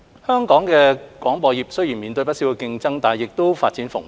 香港的廣播業雖然面對不少競爭，但亦發展蓬勃。